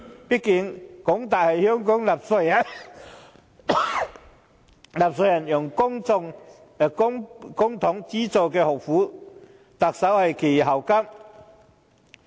畢竟，港大是香港納稅人用公帑資助的學府，特首是其校監。